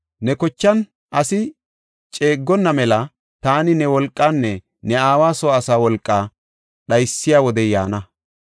Ne kochan asi ceeggonna mela taani ne wolqaanne ne aawa soo asaa wolqaa dhaysiya wodey yaana.